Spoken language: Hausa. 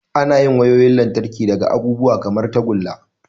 Ana yin wayoyin lantarki daga abubuwa kamar tagulla.